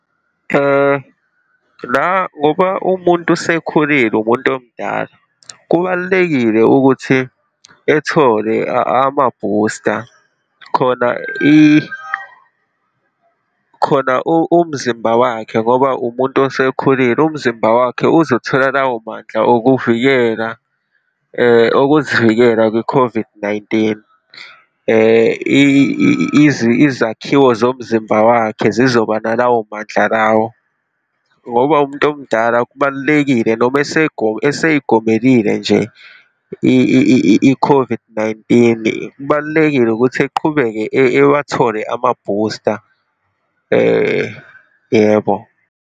La ngoba umuntu usekhulile umuntu omdala, kubalulekile ukuthi ethole amabhusta, khona khona umzimba wakhe ngoba umuntu osekhulile, umzimba wakhe uzothola lawo mandla okuvikeka, okuzivikela kwi-COVID-19. Izakhiwo zomzimba wakhe zizoba nalawo mandla lawo, ngoba umuntu omdala kubalulekile noma eseyigomelile nje i-COVID-19. Kubalulekile ukuthi eqhubeke ewathole amabhusta yebo.